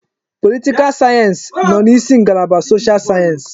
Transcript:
Politikal sayensị nọ n'isi ngalaba soshal sayensị.